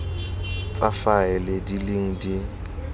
tsa faele di leng di